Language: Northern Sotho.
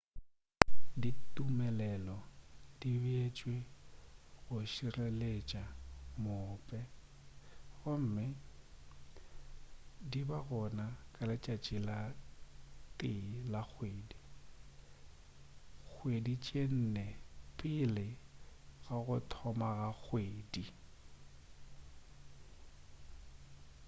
ditumelelo di beetšwe go šireletša maope gomme di ba gona ka letšatši la 1 la kgwedi kgwedi tše nne pele ga go thoma ga kgwedi